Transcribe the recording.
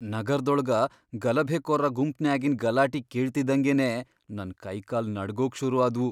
ನಗರ್ದೊಳಗ ಗಲಭೆಕೋರ್ರ ಗುಂಪ್ನ್ಯಾಗಿನ್ ಗಲಾಟಿ ಕೇಳ್ತಿದ್ದಂಗೆನೆ ನನ್ ಕೈಕಾಲ್ ನಡ್ಗೋಕ್ ಶುರು ಆದ್ವು.